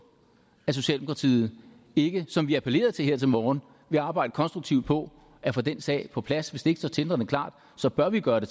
at socialdemokratiet ikke som vi appellerede til her til morgen vil arbejde konstruktivt på at få den sag på plads hvis det ikke står tindrende klart så bør vi gøre